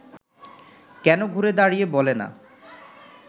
কেন ঘুরে দাঁড়িয়ে বলে না